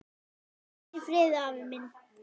Hvíl í friði afi minn.